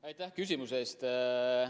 Aitäh küsimuse eest!